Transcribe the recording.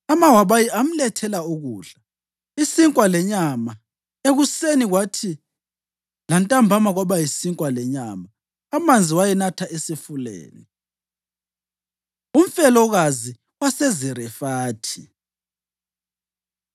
Amawabayi amlethela ukudla, isinkwa lenyama ekuseni kwathi lantambama kwaba yisinkwa lenyama, amanzi wayenatha esifuleni. Umfelokazi WaseZarefathi